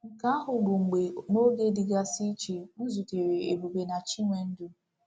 Nke ahụ bụ mgbe, n’oge dịgasị iche, m zutere Ebube na Chinwendu.